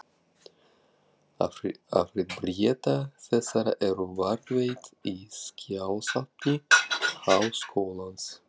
Afrit bréfa þessara eru varðveitt í skjalasafni Háskólans.